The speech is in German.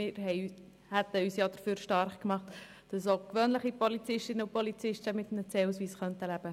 Wir hätten uns dafür stark gemacht, dass auch gewöhnliche Polizistinnen und Polizisten mit einem CAusweis diese Möglichkeit erhalten.